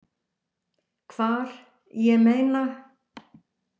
Hvar, ég meina.